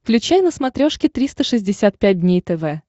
включай на смотрешке триста шестьдесят пять дней тв